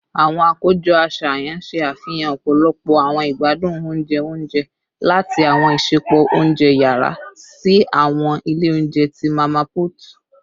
Awọn akojọ aṣayan ṣe afihan ọpọlọpọ awọn igbadun ounjẹ ounjẹ, lati awọn isẹpo ounjẹ yara si awọn ile ounjẹ ti mama put